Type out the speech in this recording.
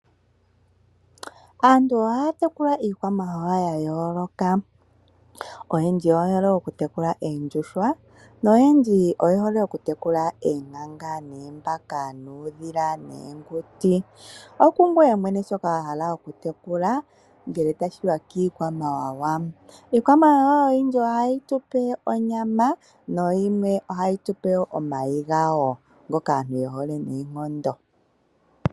Aantu ohaya tekula iikwamawawa ya yooloka. Oyendji oye hole okutekula oondjuhwa, noyendji oye hole okutekula oonkanga, oombaka, uudhila noonguti. Okungoye mwene shoka wa hala okutekula ngele tashi ya kiikwamawawa. Iikwamawawa oyindji ohayi tu pe onyama nayimwe ohayi tu pe wo omayi gayo ngoka aantu ye hole noonkondo.